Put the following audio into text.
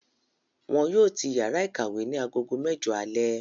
Wọn yóò tì yàrá ìkàwé ní aago mẹjọ alẹ́